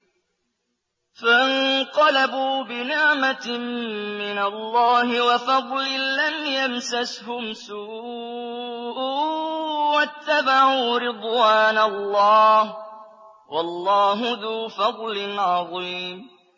فَانقَلَبُوا بِنِعْمَةٍ مِّنَ اللَّهِ وَفَضْلٍ لَّمْ يَمْسَسْهُمْ سُوءٌ وَاتَّبَعُوا رِضْوَانَ اللَّهِ ۗ وَاللَّهُ ذُو فَضْلٍ عَظِيمٍ